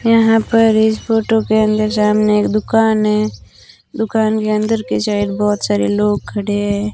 यहां पर इस फोटो के अंदर सामने एक दुकान है दुकान के अंदर की साइड बहुत सारे लोग खड़े हैं।